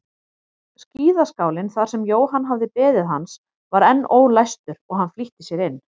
Skíðaskálinn þar sem Jóhann hafði beðið hans var enn ólæstur og hann flýtti sér inn.